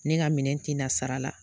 Ne ka minɛn tɛ na sara la.